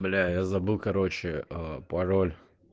бля я забыл короче пароль